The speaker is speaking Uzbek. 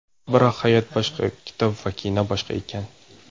Biroq hayot boshqa, kitob va kino boshqa ekan.